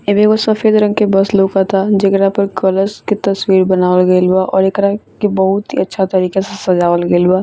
एमे एगो सफेद रंग के बस लोकता जेकरा पर कलश के तस्वीर बनावल गेल बा और एकरा के बहुत ही अच्छा तरीका से सजावल गेल बा।